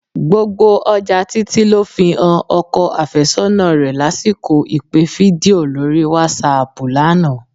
Gbogbo ọjà Títí ló fi han ọkọ àfẹ́sọ́nà rẹ lásìkò ìpè fídíò lórí wásáaàpù lánàá